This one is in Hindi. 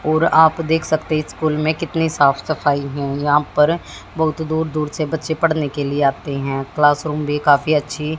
ओर आप देख सकते हैं स्कूल में कितनी साफ सफाई हों यहां पर बहुत दूर दूर से बच्चे पढ़ने के लिए आते हैं क्लासरूम भी काफी अच्छी--